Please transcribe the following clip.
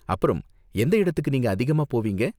அப்பறம், எந்த இடத்துக்கு நீங்க அதிகமா போவீங்க?